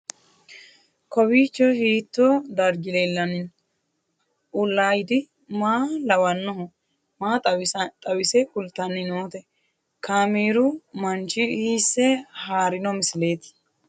Kowiicho hiito dargi leellanni no ? ulayidi maa lawannoho ? maa xawisse kultanni noote ? kaameru manchi hiisse haarino misileeti?